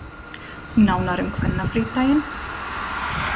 Nánar um kvennafrídaginn